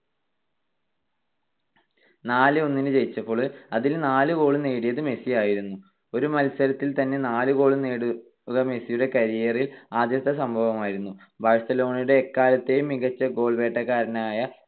നാല് - ഒന്നിന് ജയിച്ചപ്പോൾ അതിൽ നാല് goal ഉം നേടിയത് മെസ്സിയായിരുന്നു. ഒരു മത്സരത്തിൽ തന്നെ നാല് goal കൾ നേടുന്നത് മെസ്സിയുടെ career ൽ ആദ്യത്തെ സംഭവമായിരുന്നു. ബാഴ്സലോണയുടെ എക്കാലത്തേയും മികച്ച goal വേട്ടക്കാരനായ